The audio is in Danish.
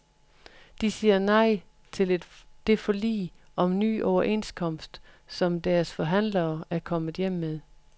De siger nej til det forlig om ny overenskomst, som deres forhandlere er kommet hjem med.